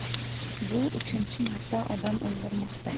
Bu uchinchi marta odam o‘ldirmoqda.